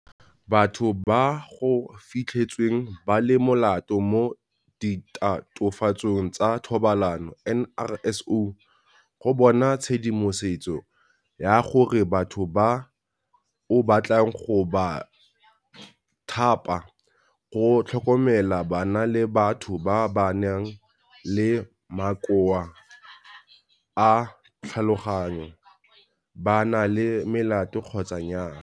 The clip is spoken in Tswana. Batho ba go Fitlhetsweng ba le Molato mo Ditatofatsong tsa Thobalano, NRSO, go bona tshedimosetso ya gore batho ba o batlang go ba thapa go tlhokomela bana le batho ba ba nang le makoa a tlhaloganyo ba na le melato kgotsa nnyaa.